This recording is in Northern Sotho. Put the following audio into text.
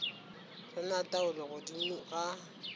re na taolo godimo ga